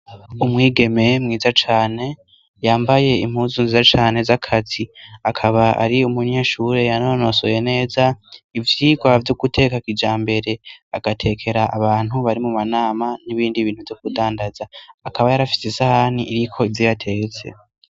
Umwigeme mwiza cane yambaye impuzu nziza cane z'akazi, akaba ari umunyeshuri yanonosoye neza ivyirwa vyo guteka kijambere, agatekera abantu bari mu manama n'ibindi bintu vyo kudandaza. Akaba yari afise isahani iriko ivyo yatetse.